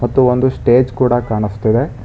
ಮತ್ತು ಒಂದು ಸ್ಟೇಜ್ ಕೂಡ ಕಾಣಸ್ತಿದೆ.